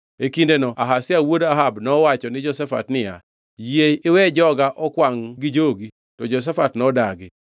E kindeno Ahazia wuod Ahab nowacho ni Jehoshafat niya, “Yie iwe joga okwangʼ gi jogi, to Jehoshafat nodagi.”